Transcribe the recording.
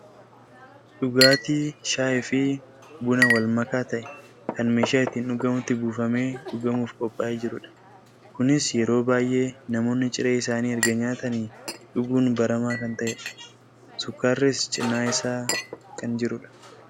dhugaatii sayii fi buna wal makaa ta'e kan meeshaa ittiin dhugamutti buufamee dhugamuuf qophaa'ee jirudha. kunis yeroo baayyee namoonni ciree isaanii erga nyaatanii dhuguun baramaa kan ta'edha . sukkaarris cinaa isaa kan jirudha.